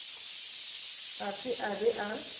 ga se a be a